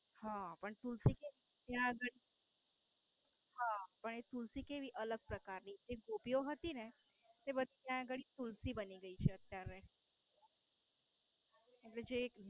હા. પણ તુલસી કેવી. ત્યાં ગાળી. હમ પણ એ તુલસી કેવું અલગ પ્રકાર ની જે ગોપીઓ હતી ને એ તુલસી બની ગઈ છે અત્યારે.